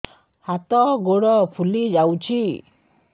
ହାତ ଗୋଡ଼ ଫୁଲି ଯାଉଛି